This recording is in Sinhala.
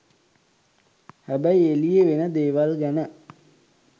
හැබැයි එළියෙ වෙන දේවල්ගැන